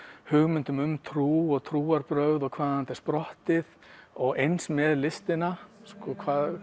hugmyndum um trú og trú og trúarbrgöð og hvaðan þetta er sprottið og eins með listina og